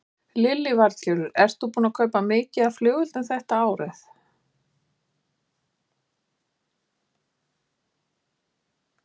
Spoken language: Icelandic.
Lillý Valgerður: Ert þú að kaupa mikið af flugeldum þetta árið?